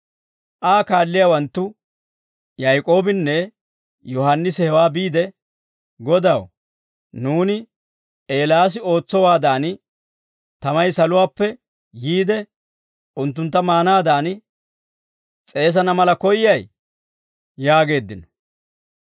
Aa kaalliyaawanttu Yaak'oobinne Yohaannisi hewaa be'iide, «Godaw, nuuni Eelaasi ootsowaadan, tamay saluwaappe yiide unttuntta maanaadan s'eesana mala koyyay?» yaageeddino.